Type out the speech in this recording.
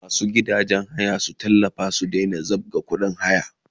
Masu gidajen haya su tallafa su daina zabga kudin haya!